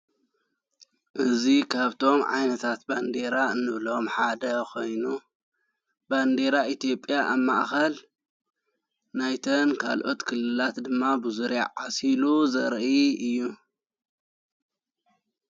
እዙ ኻብቶም ዓይነታት ባንዴራ እንብሎም ሓደ ኾይኑ ባንዴራ ኤቲጴያ ኣማእኸል ናይተን ካልኦት ክልላት ድማ ብዙርያዕ ዓሲሉ ዘረአ እዩ።